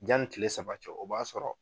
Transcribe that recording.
Janni tile saba cɛ o b'a sɔrɔ